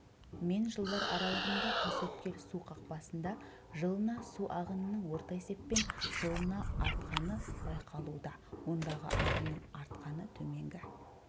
мен жылдар аралығында тасөткел су қақпасында жылына су ағынының орта есеппен жылына артқаны байқалуда ондағы ағынның артқаны төменгі